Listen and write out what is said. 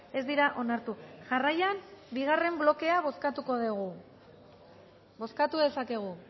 ez dira onartu jarraian bigarren blokea bozkatuko dugu bozkatu dezakegu